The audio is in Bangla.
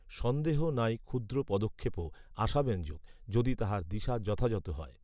সন্দেহ নাই ক্ষুদ্র পদক্ষেপও আশাব্যঞ্জক যদি তাহার দিশা যথাযথ হয়